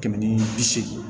Kɛmɛ ni bi seegin